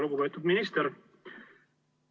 Lugupeetud minister!